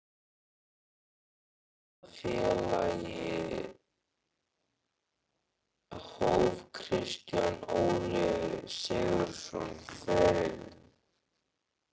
Hjá hvaða félagi hóf Kristján Óli Sigurðsson ferilinn?